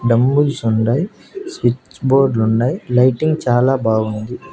Dumbbells ఉండాయ్ switch బోర్డ్లుండాయ్ lighting చాలా బాగుంది.